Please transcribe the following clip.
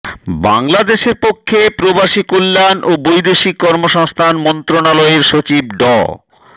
বাংলাদেশের পক্ষে প্রবাসী কল্যাণ ও বৈদেশিক কর্মসংস্থান মন্ত্রণালয়ের সচিব ড